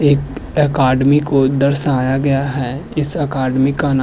एक अकादमी को दर्शाया गया है। इस अकाडमी का ना --